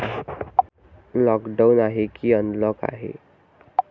Lockdown आहे की unlock आहे?